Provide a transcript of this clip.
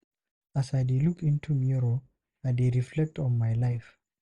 As I dey look into mirror, I dey reflect on my life.